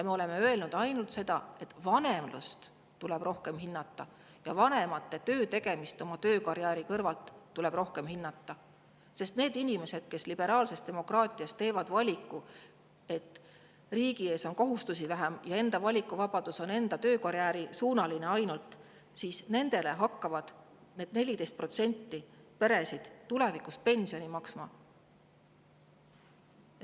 Me oleme öelnud ainult seda, et vanemlust tuleb rohkem hinnata ja vanemate töö tegemist oma töö, karjääri kõrvalt tuleb rohkem hinnata, sest nendele inimestele, kes liberaalses demokraatias teevad valiku, et neil on riigi ees kohustusi vähem ja nende valikuvabadus on ainult enda töö ja karjääri suunas, hakkavad need 14% peresid tulevikus pensioni maksma.